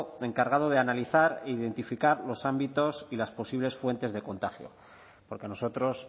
encargado de analizar e identificar los ámbitos y las posibles fuentes de contagio porque a nosotros